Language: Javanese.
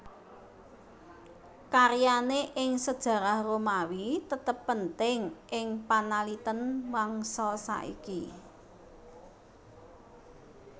Karyane ing sejarah Romawi tetep penting ing panaliten mangsa saiki